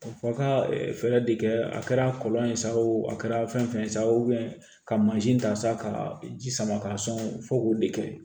Fɔ a ka fɛɛrɛ de kɛ a kɛra kɔlɔn ye sa o a kɛra fɛn fɛn ye sa ka mansin ta sa ka ji sama ka sɔn fo k'o de kɛ